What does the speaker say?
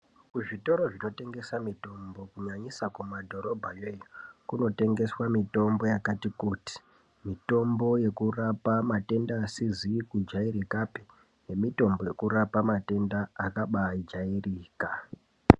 Kuzvitoro zvinotengesa mitombo kunyanyisa kumadhorobha iyoyo, kunotengeswa mitombo yakati kuti, mitombo yekurapa matenda asizi kujairikapi, nemitombo yekurapa matenda akabaijairika.